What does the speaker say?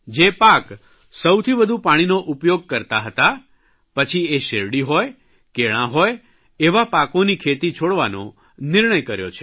જે પાક સૌથી વધુ પાણીનો ઉપયોગ કરતા હતા પછી એ શેરડી હોય કેળાં હોય એવા પાકોની ખેતી છોડવાનો નિર્ણય કર્યો છે